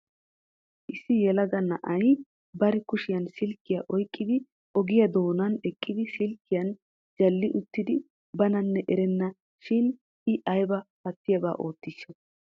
Issi yelaga na'ay bari kushiyaan silkkiya oyqqidi ogiyaa doonan eqqidi silkkiyan jalli uttidi bananne erana shin I aybba pattiyaaba oottishsha!